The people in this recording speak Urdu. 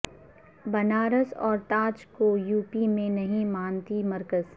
بنارس اور تاج کو یوپی میں نہیں مانتی مرکز